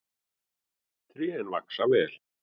Trén vaxa vel.